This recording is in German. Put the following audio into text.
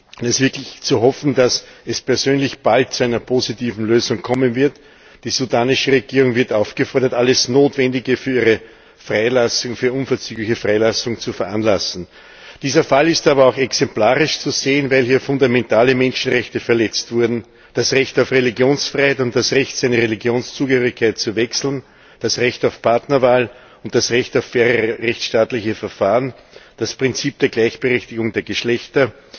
Es ist wirklich zu hoffen, dass es persönlich bald zu einer positiven Lösung kommen wird. Die sudanesische Regierung wird aufgefordert, alles Notwendige für ihre unverzügliche Freilassung zu veranlassen. Dieser Fall ist aber auch exemplarisch zu sehen, weil hier fundamentale Menschenrechte verletzt wurden, das Recht auf Religionsfreiheit und das Recht, seine Religionszugehörigkeit zu wechseln, das Recht auf Partnerwahl und das Recht auf faire rechtsstaatliche Verfahren, das Prinzip der Gleichberechtigung der Geschlechter